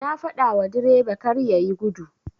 Na fadawa direba karya yi gudu.